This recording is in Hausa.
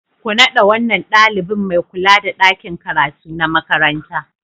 Ku naɗa wannan ɗalibin mai kula da ɗakin karatu na makaranta.